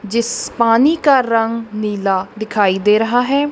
जिस पानी का रंग नीला दिखाई दे रहा है।